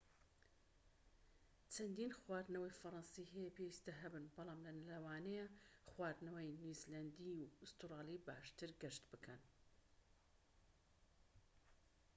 چەندین خواردنەوەی فەڕەنسی هەیە پێویستە هەبن بەڵام لەوانەیە خواردنەوەی نیوزیلەندی و ئوسترالی باشتر گەشت بکەن